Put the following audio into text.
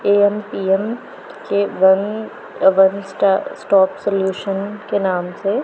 AM PM के one one star stock solution के नाम से--